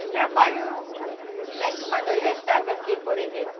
O trabalho, sempre quando eu já estava assim, por exemplo,